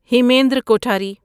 Hemendra کوٹھری